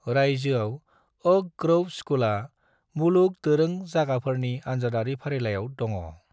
रायजोआव Oak Grove स्कूलआ मुलुग दोरों जायगाफोरनि आनजादारि फारिलाइयाव दङ'।